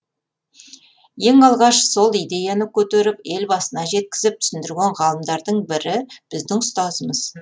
ең алғаш сол идеяны көтеріп елбасына жеткізіп түсіндірген ғалымдардың бірі біздің ұстазымыз